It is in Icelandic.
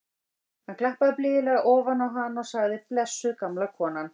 Hann klappaði blíðlega ofan á hana og sagði: blessuð gamla konan.